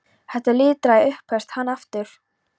Þetta er lítilræði upphefst hann aftur.